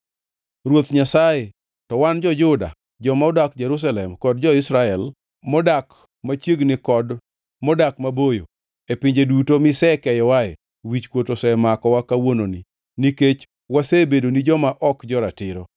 “Ruoth Nyasaye, to wan jo-Juda, joma odak Jerusalem kod jo-Israel, modak machiegni kod modak maboyo, e pinje duto misekeyowae wichkuot osemakowa kawuononi, nikech wasebedoni joma ok jo-ratiro.